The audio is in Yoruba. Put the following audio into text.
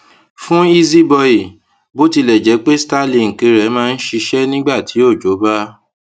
fún izzy boye bó tilè jé pé starlink rè máa ń ṣiṣé nígbà tí òjò bá